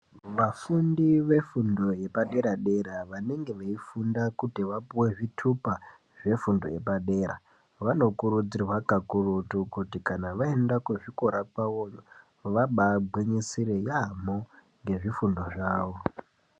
Vafundi vefundo yepadera-dera ,vanenge veifunda kuti vapuwe zvithupa, zvefundo yepadera, vanokurudzirwa kakututu kuti kana vaenda kuzvikora kwavoyo , vabaangwinyisire yaampho, nezvifundo zvavo.